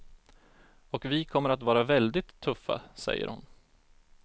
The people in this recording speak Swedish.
Och vi kommer att vara väldigt tuffa, säger hon.